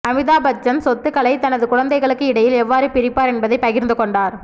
அமிதாப் பச்சன்சொத்துக்களை தனது குழந்தைகளுக்கு இடையில் எவ்வாறு பிரிப்பார் என்பதை பகிர்ந்து கொண்டார்